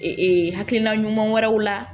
Ee hakilina ɲuman wɛrɛw la